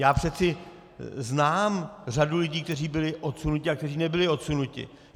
Já přece znám řadu lidí, kteří byli odsunuti a kteří nebyli odsunuti.